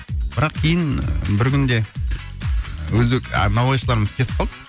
бірақ кейін ы бір күнде өзбек ы наубайшылырымыз кетіп қалды